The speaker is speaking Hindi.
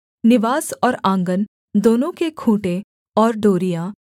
निवास और आँगन दोनों के खूँटे और डोरियाँ